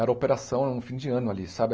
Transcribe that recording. era operação é um fim de ano ali, sabe?